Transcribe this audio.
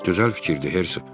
Gözəl fikirdir, Herzoq.